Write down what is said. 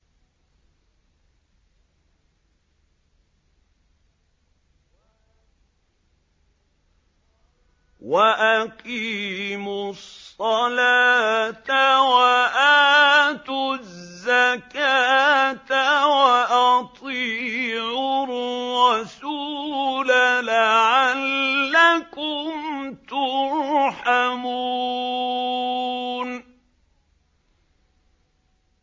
وَأَقِيمُوا الصَّلَاةَ وَآتُوا الزَّكَاةَ وَأَطِيعُوا الرَّسُولَ لَعَلَّكُمْ تُرْحَمُونَ